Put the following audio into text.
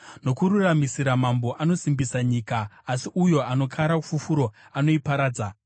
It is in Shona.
Nokururamisira mambo anosimbisa nyika, asi uyo anokara fufuro anoiparadza.